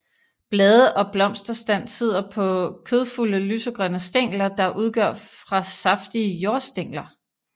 Blade og blomsterstand sidder på kødfulde lysegrønne stængler der udgør fra saftige jordstængler